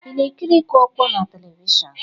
Ị na-ekiri ịkụ ọkpọ na telivishọn?